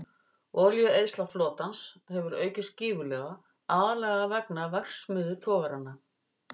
Olíueyðsla flotans hefur aukist gífurlega, aðallega vegna verksmiðjutogaranna.